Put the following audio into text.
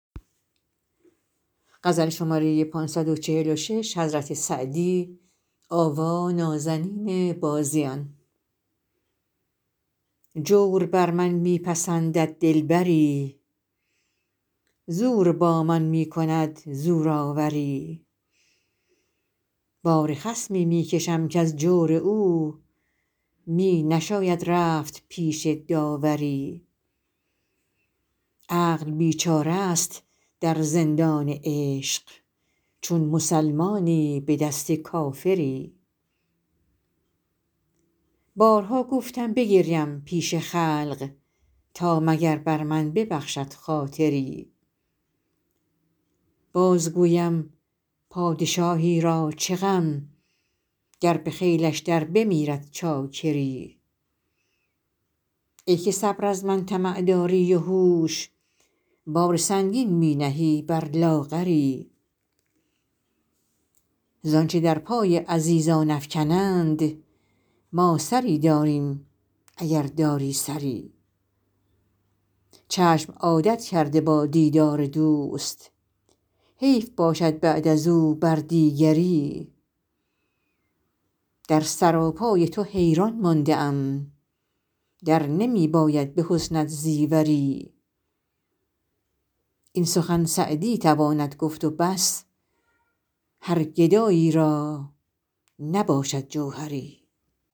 جور بر من می پسندد دلبری زور با من می کند زورآوری بار خصمی می کشم کز جور او می نشاید رفت پیش داوری عقل بیچاره ست در زندان عشق چون مسلمانی به دست کافری بارها گفتم بگریم پیش خلق تا مگر بر من ببخشد خاطری باز گویم پادشاهی را چه غم گر به خیلش در بمیرد چاکری ای که صبر از من طمع داری و هوش بار سنگین می نهی بر لاغری زآنچه در پای عزیزان افکنند ما سری داریم اگر داری سری چشم عادت کرده با دیدار دوست حیف باشد بعد از او بر دیگری در سراپای تو حیران مانده ام در نمی باید به حسنت زیوری این سخن سعدی تواند گفت و بس هر گدایی را نباشد جوهری